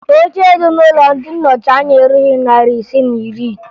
Oche dị n'Ụlọ ndị Nnọchianya erughi narị ise na iri